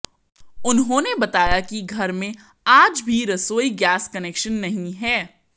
उन्होंने बताया कि घर में आज भी रसोई गैस कनेक्शन नहीं है